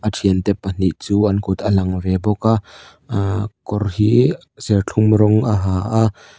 a thiante pahnih chu an kut a lang ve bawk a aaa kawr hi serthlum rawng a ha a.